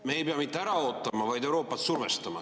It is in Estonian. Me ei pea mitte ära ootama, vaid Euroopat survestama.